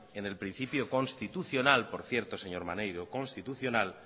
en el principio constitucional ypor cierto señor maneiro constitucional